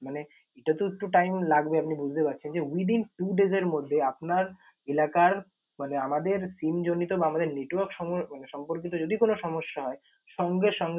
মানে এটা তো একটু time লাগবে আপনি বুঝতে পারছেন যে, within two days এর মধ্যে আপনার এলাকার মানে আমাদের SIM জনিত বা আমাদের network সময় সম্পর্কিত কোন সমস্যা হয় সঙ্গে সঙ্গে